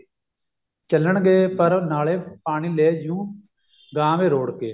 ਚੱਲਣ ਗਏ ਪਰ ਨਾਲੇ ਪਾਣੀ ਲੈਜੂ ਗਾਂਹ ਵੇ ਰੋੜ ਕੇ